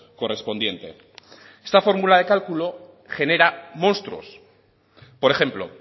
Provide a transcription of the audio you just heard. correspondiente esta fórmula de cálculo genera monstruos por ejemplo